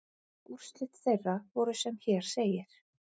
Úrslit þeirra voru sem hér segir